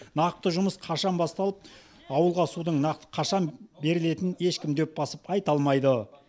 нақты жұмыс қашан басталып ауылға судың нақты қашан берілетін ешкім дөп басып айта алмайды